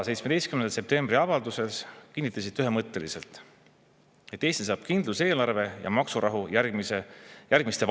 17. septembri avalduses kinnitasite te ühemõtteliselt, et Eesti saab kindluse eelarve ja maksurahu järgmiste valimisteni.